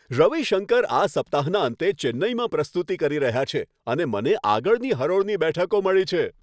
રવિશંકર આ સપ્તાહના અંતે ચેન્નઈમાં પ્રસ્તુતિ કરી રહ્યા છે અને મને આગળની હરોળની બેઠકો મળી છે!